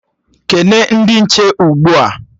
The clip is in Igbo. Kene ndị nche ugbua!